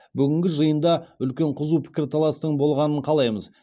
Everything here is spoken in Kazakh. бүгінгі жиында үлкен қызу пікірталастың болғанын қалаймыз